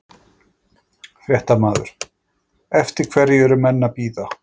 Fréttamaður: Eftir hverju eru menn að bíða?